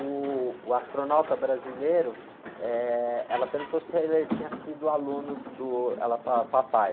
Uh, o astronauta brasileiro, eh, ela perguntou se ele tinha sido aluno do, ela falava papai.